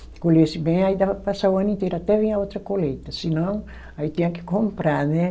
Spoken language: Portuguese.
Se colhesse bem, aí dava para passar o ano inteiro, até vir a outra colheita, senão aí tinha que comprar, né?